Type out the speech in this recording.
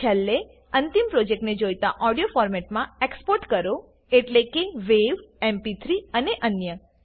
છેલ્લે અંતિમ પ્રોજેક્ટને જોઈતા ઓડિયો ફોર્મેટમાં એક્સપોર્ટ કરો એટલે કે વાવ એમપી3 અને અન્ય